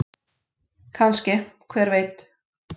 Kannske- hver veit?